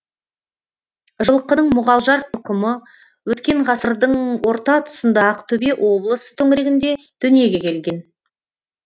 жылқының мұғалжар тұқымы өткен ғасырдың орта тұсында ақтөбе облысы төңірегінде дүниеге келген